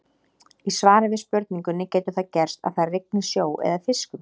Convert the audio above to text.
Í svari við spurningunni Getur það gerst að það rigni sjó eða fiskum?